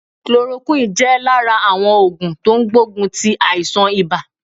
Chloroquine jẹ́ ọ̀kan lára àwọn ògùn tó n gbógun ti àìsàn ibà